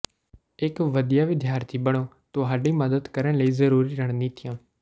ਇਕ ਵਧੀਆ ਵਿਦਿਆਰਥੀ ਬਣੋ ਤੁਹਾਡੀ ਮਦਦ ਕਰਨ ਲਈ ਜ਼ਰੂਰੀ ਰਣਨੀਤੀਆਂ